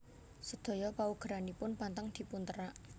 Sedaya paugeranipun pantang dipunterak